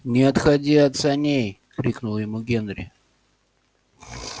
не отходи от саней крикнул ему генри